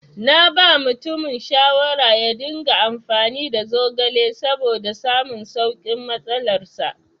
Naba mutumin shawara yaringa amfani da zogale saboda samun saukin matsalar sa.